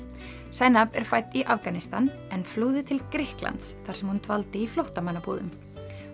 zainab er fædd í Afganistan en flúði til Grikklands þar sem hún dvaldi í flóttamannabúðum